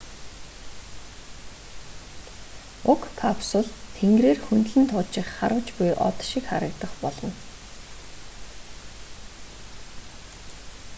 уг капсул тэнгэрээр хөндлөн туучих харваж буй од шиг харагдах болно